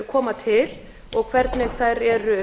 koma til og hvernig þær eru